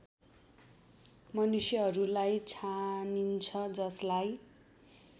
मनुष्यहरूलाई छानिन्छ जसलाई